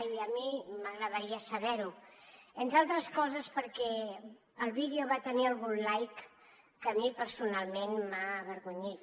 i a mi m’agradaria saber ho entre altres coses perquè el vídeo va tenir algun like que a mi personalment m’ha avergonyit